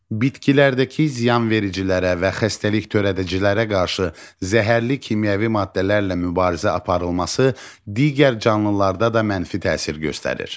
Bitkilərdəki ziyanvericilərə və xəstəlik törədicilərə qarşı zəhərli kimyəvi maddələrlə mübarizə aparılması digər canlılarda da mənfi təsir göstərir.